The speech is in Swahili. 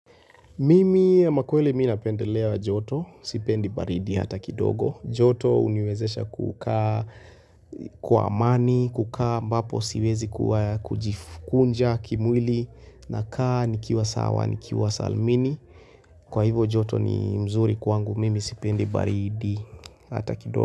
Mimi amakweli napendelea joto, sipendi baridi hata kidogo. Joto uniwezesha kukaa kwa amani, kukaa mbapo siwezi kujikunja kimwili na kaa nikiwa sawa, nikiwa salmini. Kwa hivo joto ni mzuri kwangu, mimi sipendi baridi hata kidogo.